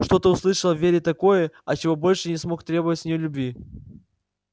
что-то услышал в вере такое от чего больше не смог требовать с нее любви